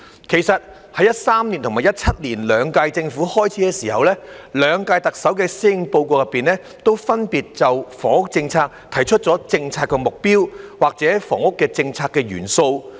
其實，在2013年及2017年兩屆政府開始時，兩屆特首的施政報告都分別就房屋政策提出了政策目標或房屋政策元素。